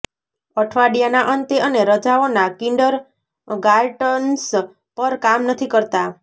અઠવાડિયાના અંતે અને રજાઓના કિન્ડરગાર્ટન્સ પર કામ નથી કરતા